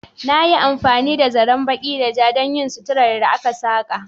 Na yi amfani da zaren baƙi da ja don yin suturar da aka saƙa.